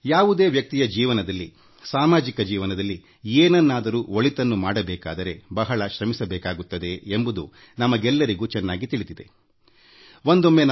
ಯಾವುದೇ ವ್ಯಕ್ತಿಯ ವೈಯಕ್ತಿಕ ಜೀವನದಲ್ಲಿ ಅಥವಾಸಮಾಜದಲ್ಲಿ ಏನನ್ನಾದರೂ ಒಳಿತನ್ನು ಮಾಡಬೇಕಾದರೆ ಬಹಳ ಶ್ರಮಿಸಬೇಕಾಗುತ್ತದೆ ಎಂಬುದು ನಮಗೆಲ್ಲರಿಗೂ ಚೆನ್ನಾಗಿ ತಿಳಿದ ಸಂಗತಿಯಾಗಿದೆ